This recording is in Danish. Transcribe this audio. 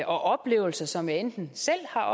oplevelser som jeg enten selv har